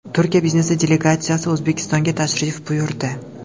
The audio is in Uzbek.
Turkiya biznesi delegatsiyasi O‘zbekistonga tashrif buyurdi.